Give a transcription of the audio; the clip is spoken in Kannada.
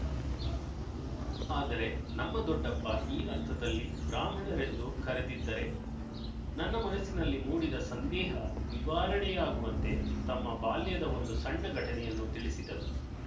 ಆದರೆ ನಮ್ಮ ದೊಡ್ಡಪ್ಪ ಈ ಅರ್ಥದಲ್ಲಿ ಬ್ರಾಹ್ಮಣರೆಂದು ಕರೆದಿದ್ದರೆ ನನ್ನ ಮನಸ್ಸಿನಲ್ಲಿ ಮೂಡಿದ ಸಂದೇಹ ನಿವಾರಣೆಯಾಗುವಂತೆ ತಮ್ಮ ಬಾಲ್ಯದ ಒಂದು ಸಣ್ಣ ಘಟನೆಯನ್ನು ತಿಳಿಸಿದರು